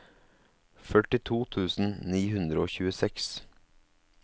førtito tusen ni hundre og tjueseks